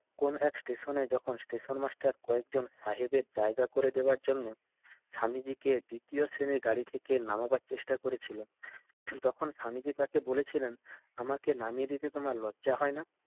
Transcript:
কোনো এক station যখন station master কয়েকজন বাহিরে জায়গা করে দেওয়ার জন্য স্বামীজিকে দ্বিতীয় শ্রেণির গাড়ি থেকে নামাবার চেষ্টা করেছিল তখন স্বামীজির কাছে বলেছিলেন আমাকে নামিয়ে দিতে তোমার লজ্জা হয় না?